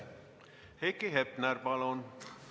Heiki Hepner, palun!